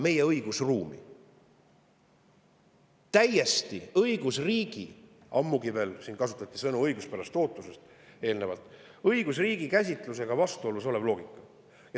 See on õigusriigi käsitlusega, ammugi veel õiguspärase ootuse printsiibiga, mida siin eelnevalt, täiesti vastuolus olev loogika.